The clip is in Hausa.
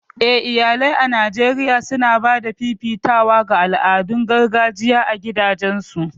Eh iyalai a Najeriya suna ba da fifitawa ga al'adun gargajiya a gidajensu